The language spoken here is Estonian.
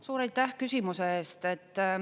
Suur aitäh küsimuse eest!